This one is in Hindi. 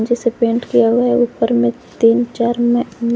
इसे पेंट किया हुआ है ऊपर में तीन चार में--